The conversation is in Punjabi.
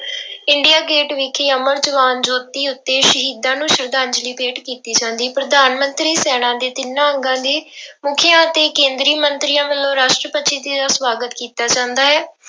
ਇੰਡੀਆ ਗੇਟ ਵਿਖੇ ਜੋਤੀ ਉੱਤੇ ਸ਼ਹੀਦਾਂ ਨੂੰ ਸਰਧਾਂਜਲੀ ਭੇਟ ਕੀਤੀ ਜਾਂਦੀ, ਪ੍ਰਧਾਨ ਮੰਤਰੀ ਸੈਨਾ ਦੇ ਤਿੰਨਾਂ ਅੰਗਾਂ ਦੇ ਮੁੱਖੀਆਂ ਅਤੇ ਕੇਂਦਰੀ ਮੰਤਰੀਆਂ ਵੱਲੋਂ ਰਾਸ਼ਟਰਪਤੀ ਜੀ ਦੀ ਸਵਾਗਤ ਕੀਤਾ ਜਾਂਦਾ ਹੈ।